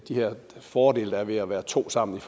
her fordele ved at være to sammen i